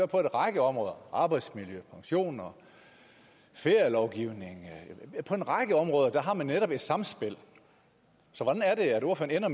på en række områder arbejdsmiljø pension ferielovgivning på en række områder har man netop et samspil så hvordan ender